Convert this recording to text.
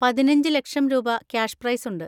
പതിനഞ്ച് ലക്ഷം രൂപ ക്യാഷ് പ്രൈസുണ്ട്.